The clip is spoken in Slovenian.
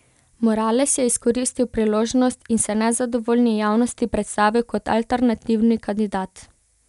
Morales je izkoristil priložnost in se nezadovoljni javnosti predstavil kot alternativni kandidat.